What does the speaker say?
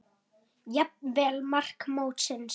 Jafnvel mark mótsins?